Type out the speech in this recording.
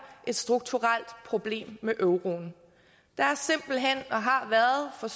et strukturelt problem med euroen der har været og